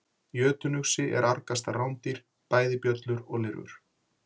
Jötunuxi er argasta rándýr, bæði bjöllur og lirfur.